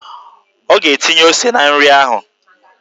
Ọ ga-etinye ose na nri ahụ.